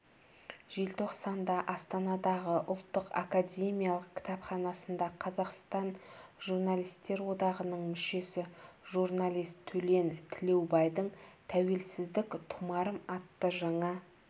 желтоқсанда астанадағы ұлттық академиялық кітапханасында қазақстан журналистер одағының мүшесі журналист төлен тілеубайдың тәуелсіздік тұмарым атты жаңа